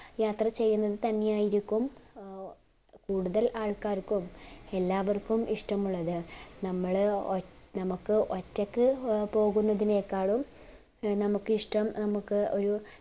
യാത്ര ചെയ്യുന്നത് തന്നെയ്യയിരിക്കും അഹ് കൂടുതൽ ആൾക്കാർക്കും എല്ലാവർക്കും ഇഷ്ടമുള്ളത് നമ്മള് ഒറ്റ നമ്മക് ഒറ്റക് പോകുന്നതിനെകാളും നമ്മുക് ഇഷ്ടം നമ്മുക് ഒരു